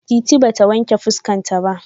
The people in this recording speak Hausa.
Titi ba ta wanƙe fuska ta.